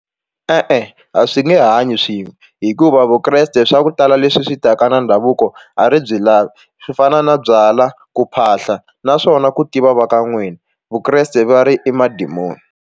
E-e, a swi nge hanyi swin'we hikuva Vukreste swa ku tala leswi swi taka na ndhavuko a ri byi lavi swi fana na byala ku phahla naswona ku tiva va ka n'wina Vukreste va ri i madimoni.